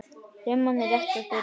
Rimman er rétt að byrja.